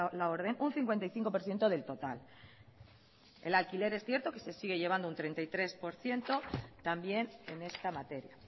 la orden un cincuenta y cinco por ciento del total el alquiler es cierto que se sigue llevando un treinta y tres por ciento también en esta materia